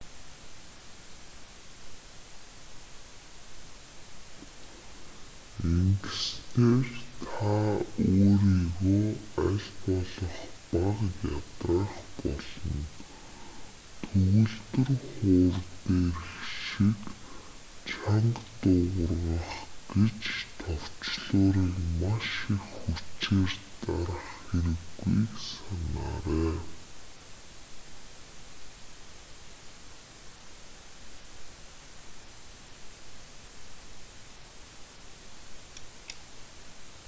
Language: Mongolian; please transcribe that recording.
ингэснээр та өөрийгөө аль болох бага ядраах болно төгөлдөр хуур дээрх шиг чанга дуугаргах гэж товчлуурыг маш их хүчээр дарах хэрэггүйг санаарай